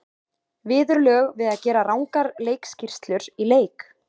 Viðurlög við að gera rangar leikskýrslur í leik?